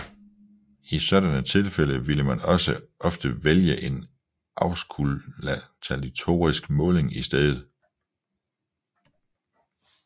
I sådanne tilfælde vil man ofte vælge en auskultatorisk måling i stedet